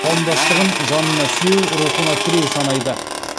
қауымдастығын жанына сүйеу рухына тіреу санайды